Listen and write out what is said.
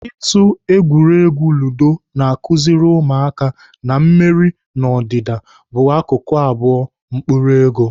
Ịtụ egwuregwu ludo na-akụziri ụmụaka na mmeri na ọdịda bụ akụkụ abụọ mkpụrụ ego.